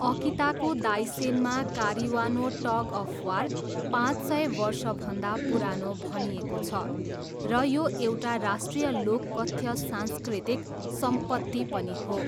अकिताको दाइसेनमा कारिवानो tug of war, पाँच सय वर्षभन्दा पुरानो भनिएको छ र यो एउटा राष्ट्रिय लोककथ्य सांस्कृतिक सम्पत्ति पनि हो।